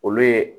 Olu ye